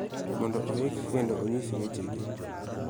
Mondo oik kendo onyis wechegi